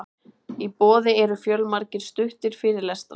í boði eru fjölmargir stuttir fyrirlestrar